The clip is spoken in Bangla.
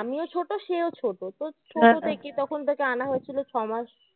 আমিও ছোট সেও ছোট তো তখন তাকে আনা হয়েছিল ছ মাস